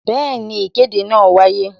Bẹẹni, ìkéde náà wáyé